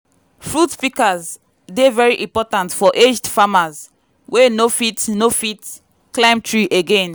fruit pikas dey very important for aged farmers wey no fit no fit climb tree again.